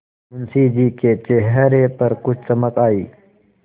मुंशी जी के चेहरे पर कुछ चमक आई